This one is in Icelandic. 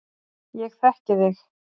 Ég þekki þig